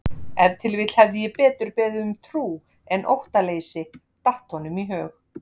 Ef til vill hefði ég betur beðið um trú en óttaleysi, datt honum í hug.